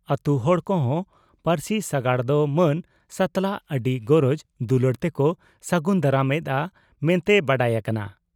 ᱟᱹᱛᱩ ᱦᱚᱲ ᱠᱚᱦᱚᱸ ᱯᱟᱹᱨᱥᱤ ᱥᱟᱜᱟᱲ ᱫᱚ ᱢᱟᱹᱱ ᱥᱟᱛᱞᱟᱜ ᱟᱹᱰᱤ ᱜᱚᱨᱚᱡᱽ ᱫᱩᱞᱟᱹᱲ ᱛᱮᱠᱚ ᱥᱟᱹᱜᱩᱱ ᱫᱟᱨᱟᱢ ᱮᱫᱼᱟ ᱢᱮᱱᱛᱮ ᱵᱟᱰᱟᱭ ᱟᱠᱟᱱᱟ ᱾